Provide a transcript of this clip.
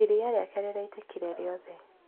Iria rĩake rĩitĩkire rĩothe.